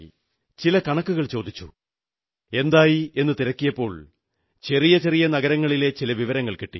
ചില കണക്കുകൾ ചോദിച്ചു എന്തായി എന്നു തിരക്കിയപ്പോൾ ചെറിയ ചെറിയ നഗരങ്ങളിലെ ചില വിവരങ്ങൾ കിട്ടി